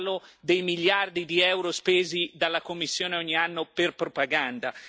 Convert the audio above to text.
Parlo dei miliardi di euro spesi dalla Commissione ogni anno per propaganda.